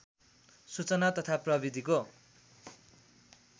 सूचना तथा प्रविधिको